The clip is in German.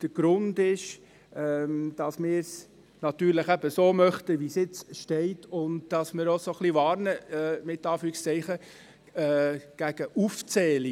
Der Grund ist, dass wir es natürlich so möchten, wie es jetzt geschrieben steht und dass wir ein wenig vor Aufzählungen «warnen».